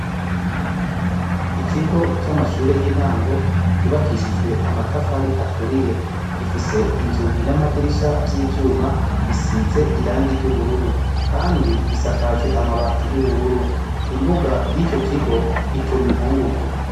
Ikigo cy'amashure y'intango ryubakishijwe amatafari aturiye gifise inzugi n'amadirisha vy'ivyuma bisize irangi ry'ubururu, kandi gisakajwe amabati y'ubururu imbuga y'ito kigo ituma inkungugu.